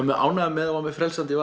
mjög ánægður með og er mjög frelsandi